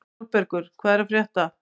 Sólbergur, hvað er að frétta?